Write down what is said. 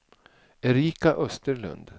Erika Österlund